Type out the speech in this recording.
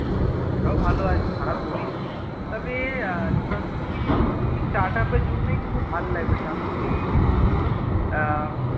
সেটাও ভালো হয়ে একদম খারাপ বলিসনি তবে এর Tandoori starter এর জন্যেই কিন্তু ভাল লাগবে কিন্তু এর